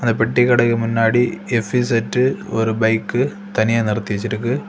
அந்த பெட்டி கடைக்கு முன்னாடி எஃப்_இஸட் ஒரு பைக் தனியா நிறுத்தி வச்சிருக்கு.